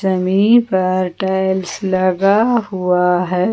जमीन पर टाइल्स लगा हुआ है।